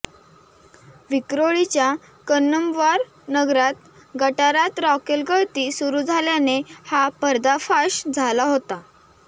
विक्रोळीच्या कन्नमवार नगरात गटारात रॉकेलगळती सुरू झाल्याने हा पर्दाफाश झाला होता